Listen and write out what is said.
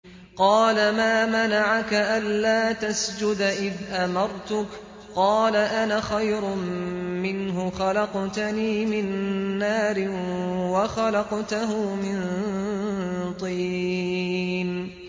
قَالَ مَا مَنَعَكَ أَلَّا تَسْجُدَ إِذْ أَمَرْتُكَ ۖ قَالَ أَنَا خَيْرٌ مِّنْهُ خَلَقْتَنِي مِن نَّارٍ وَخَلَقْتَهُ مِن طِينٍ